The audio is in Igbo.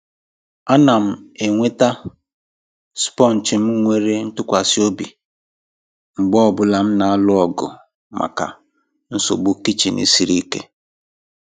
A na m enweta sponge m nwere ntụkwasị obi mgbe ọ bụla m na-alụ ọgụ maka nsogbu kichin siri ike.